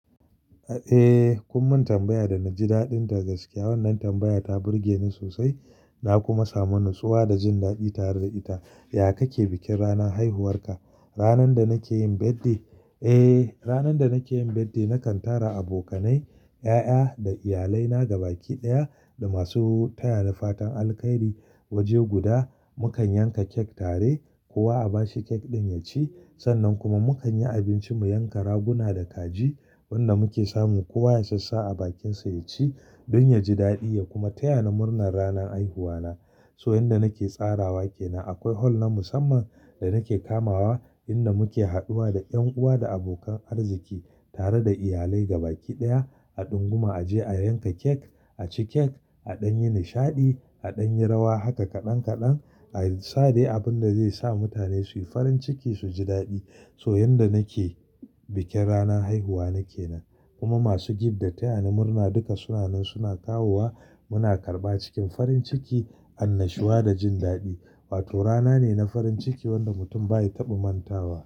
Eh, kun mun tambaya da na ji daɗinta gaskiya. Wannan tambaya ta burge ni sosai, na kuma samu natsuwa da jin daɗi tare da ita. Yaya kake bikin ranar haihuwarka? Ranar da nake yin birthday, eh, ranar da nake yin birthday nakan tara abokanai, ƴaƴa da iyalai na gaba ɗaya da masu taya ni fatan alheri waje guda. Mukan yanka cake tare, kowa a bashi cake ɗin yaci. Sannan kuma mu kan yi abinci, mu yanka raguna da kaji, wanda muke samun kowa yasassa a bakinsa ya ci don ya ji daɗi ya kuma taya ni murnar ranar haihuwa na. So yanda nake tsarawa ke nan. Akwai hall na musamman da nake kamawa inda muke haduwa da ƴan uwa da abokan arziki tare da iyalai gaba ɗaya. A ɗunguma a je a yanka cake, a ci cake, a ɗan yi nishaɗi, a ɗan yi rawa, haka kaɗan kaɗan. A yi sade abin da zai sa mutane su yi farin ciki su ji daɗi. So yanda nake bikin ranar haihuwa nake nan. Kuma masu girbi da taya ni murna duka sunan su suna kawowa. Muna karɓa cikin farin ciki an natsuwa da jin daɗi. Wato rana ne na farin ciki wanda mutum bai taɓa mantawa.